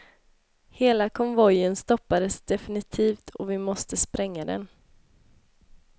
Hela konvojen stoppades definitivt och vi måste spränga den.